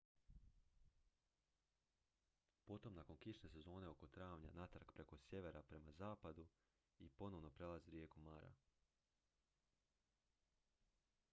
potom nakon kišne sezone oko travnja natrag preko sjevera prema zapadu i ponovno prelazi rijeku mara